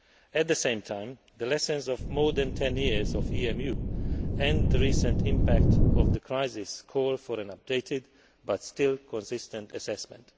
At the same time, the lessons of more than 10 years of EMU and the recent impact of the crisis call for an updated but still consistent assessment.